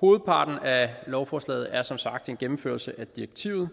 hovedparten af lovforslaget er som sagt en gennemførelse af direktivet